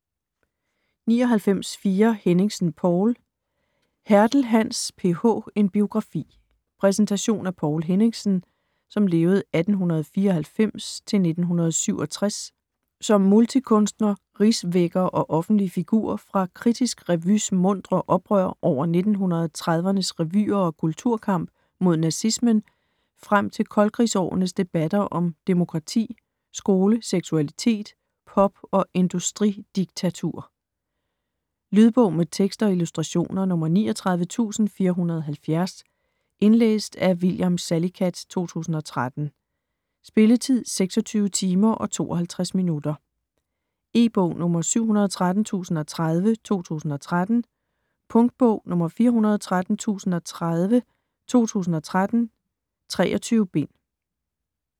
99.4 Henningsen, Poul Hertel, Hans: PH - en biografi Præsentation af Poul Henningsen (1894-1967) som multikunstner, rigsvækker og offentlig figur fra Kritisk Revy's muntre oprør over 1930'ernes revyer og kulturkamp mod nazismen frem til koldkrigsårenes debatter om demokrati, skole, seksualitet, pop og industridiktatur. Lydbog med tekst og illustrationer 39470 Indlæst af William Salicath, 2013. Spilletid: 26 timer, 52 minutter. E-bog 713030 2013. Punktbog 413030 2013. 23 bind.